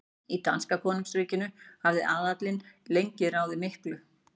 Í danska konungsríkinu hafði aðallinn lengi ráðið miklu.